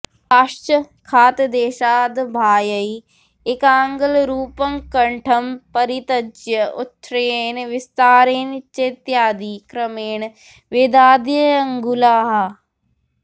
ताश्च खातदेशाद्बाह्ये एकाङ्गुलरूपङ्कण्ठम्परित्यज्य उच्छ्रयेण विस्तारेण चेत्यादि क्रमेण वेदाद्यङ्गुलाः